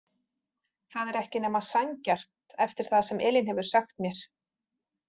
Það er ekki nema sanngjarnt eftir það sem Elín hefur sagt mér.